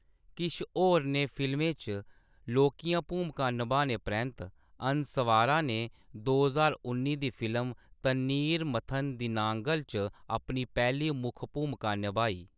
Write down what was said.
किश होरनें फिल्में च लौह्‌कियां भूमकां निभाने परैंत्त, अनसवारा ने दो ज्हार उन्नी दी फिल्म 'तन्नीर मथन दिनांगल' च अपनी पैह्‌ली मुक्ख भूमका नभाई।